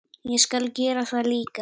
Ég skal gera það líka.